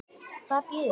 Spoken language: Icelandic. Hvað bíður okkar?